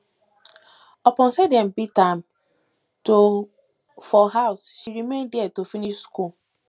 upon sey dem dey beat am for house she remain there to finish skool